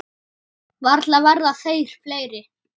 Varla verða þeir fleiri.